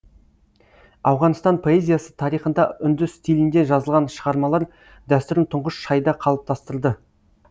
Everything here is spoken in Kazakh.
ауғанстан поэзиясы тарихында үнді стилінде жазылған шығармалар дәстүрін тұңғыш шайда қалыптастырды